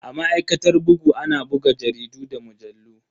A ma'aikatar bugu ana buga jaridu da mujallu.